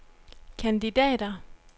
kandidater